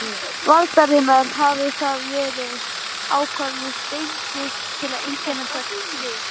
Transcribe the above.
Valdar hafa verið ákveðnar steindir til að einkenna hvert stig.